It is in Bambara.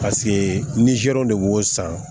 Paseke nizɛriw de b'o san